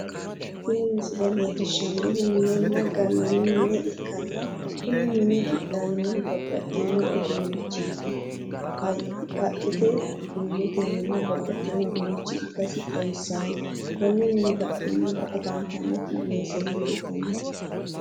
tini missile leellishannohu minena gallanni mine ikkanna kunni mini qixxawinohu babbaxxino uddunichiiti haqqete murotennina babbaxxino uddunichi ikkasi xawisano. konni minibadhesiinni higge afantanoti weeseno leeltano.